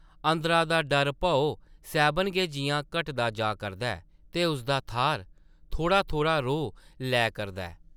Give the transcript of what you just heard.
अंदरा दा डर-भौ सैह्बन गै जिʼयां घटदा जा करदा ऐ ते उसदा थाह्र थोह्ड़ा-थोह्ड़ा रोह् लै करदा ऐ ।